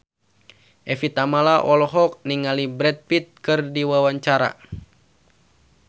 Evie Tamala olohok ningali Brad Pitt keur diwawancara